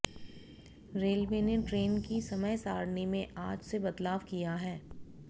railway ने train की समयसारिणी में आज से बदलाव किया है